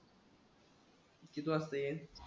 किती वाजता येईल?